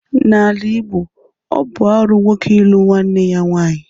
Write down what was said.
N'ala Igbo, ọ bụ arụ nwoke ịlụ nwanne ya nwaanyị.